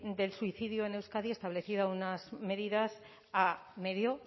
del suicidio en euskadi establecía unas medidas a medio